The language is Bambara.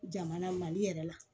Jamana mali yɛrɛ la